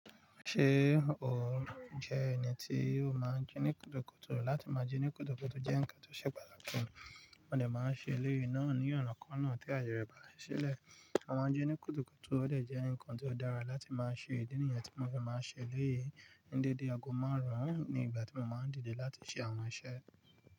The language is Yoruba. Ṣé o jẹ́ ẹni tí o máa ń jí ní kùtùkùtù? Látí máa jí ní kùtùkùtù jẹ́ ǹkan tó ṣe pàtàkì, mo dẹ̀ máa ń ṣe eléyìí náà ní ọ̀nà kan náà tí ayẹyẹ bá ṣílẹ̀. Mo ma njí nì kùtùkùtù ó dẹ̀ jẹ́ ǹkan tí ó dára láti máa ṣe ìdí nìyàn tí mo fi máa ń ṣe eléyìí ní dédé aago márùn-ún ní ìgbà tí mo máa ń dìde láti ṣe àwọn iṣẹ́.